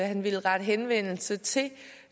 han ville rette henvendelse til